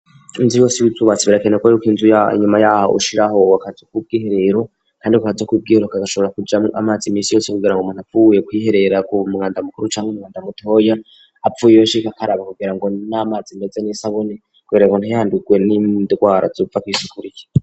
Inzu yose y'ibubatsi birakenerwa ko yuko inzu nyuma yaho ushiraho akazu k'ubw'iherero .kandi ako k'ubwihero kagashobora kujamwo amazi iminsi yose kugira ngo muntu apfuye kwiherera ku mwanda mukuru canke umwanda mutoya .Avuyeyo ashika akaraba ngo n'amazi meze nisabune kugira ngo ntayihandurwe n'indwara zova kwisuku rike.